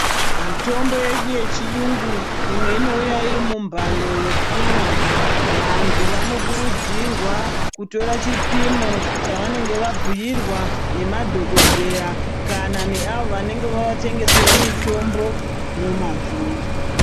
Mitombo yedu yechiyungu imwe inouya iri mumbando yekumwa vantu vanokurudzirwa kutora chipimo chavanenge vabhiirwa nemadhokodheya kana neavo vaenge vavatengesera mutombo nemazvo.